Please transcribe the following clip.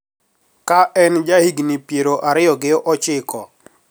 Ka an jahigini pier ariyo gi ochiko